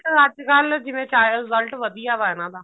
ਅੱਜਕਲ ਜਿਵੇਂ result ਵਧੀਆ ਵਾ ਇਹਨਾ ਦਾ